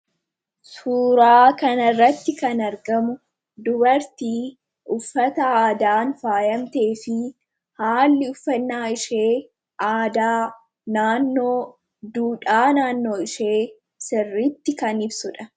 suuraa kana irratti kan argamu dubartii uffata aadaan faayamtee fi haalli uffannaa ishee aadaa naannoo fi duudhaa naannoo ishee sirritti kan ibsudha.